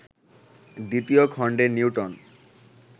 দ্বিতীয় খণ্ডে নিউটন